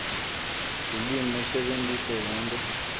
lulwimi usebentise yonkhe